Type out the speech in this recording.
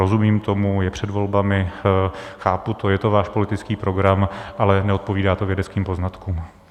Rozumím tomu, je před volbami, chápu to, je to váš politický program, ale neodpovídá to vědeckým poznatkům.